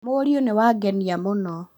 Mũriũ nĩ wangenia mũno